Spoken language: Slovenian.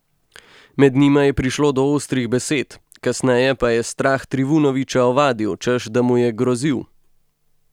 Med njima je prišlo do ostrih besed, kasneje pa je Strah Trivunovića ovadil, češ da mu je grozil.